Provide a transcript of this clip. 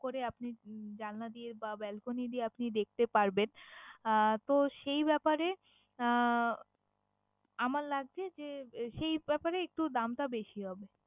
করে আপনি জানলা দিয়ে বা belcony দিয়ে আপনি দেখতে পারবেন। আহ তো সেই ব্যপারে আহ আমার লাগবে যে সেই ব্যপারে একটু দামটা বেশি হবে।